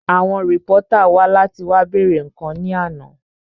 Àwọn rìpọ́tà wá láti wá bèèrè àwọn ǹkan ní àná